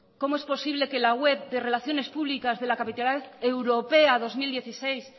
cómo es posible que la web de relaciones públicas de la capitalidad europea dos mil dieciséis